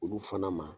Olu fana ma